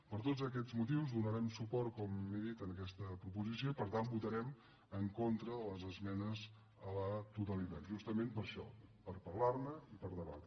per tots aquests motius donarem suport com he dit en aquesta proposició i per tant votarem en contra de les esmenes a la totalitat justament per això per parlar·ne i per debatre